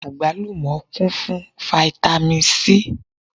Àgbálùmọ́ kún fún fáítámì Sí.